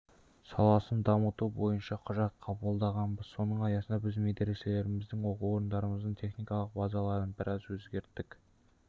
саласын дамыту бойынша құжат қабылдағанбыз соның аясында біз медреселеріміздің оқу орындарымыздың техникалық базаларын біраз өзгерттік